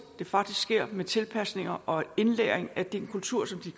det faktisk sker med tilpasning og indlæring af den kultur de